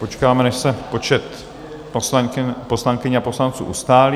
Počkáme, než se počet poslankyň a poslanců ustálí.